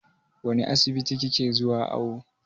Wane asibiti ki ke zuwa awo?